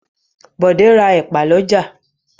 Bọ̀dé ra ẹ̀pà lọ́jà.